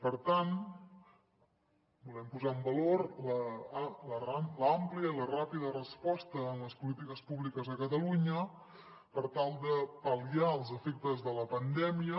per tant volem posar en valor l’àmplia i la ràpida resposta en les polítiques públiques a catalunya per tal de pal·liar els efectes de la pandèmia